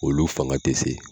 Olu fanga tɛ se.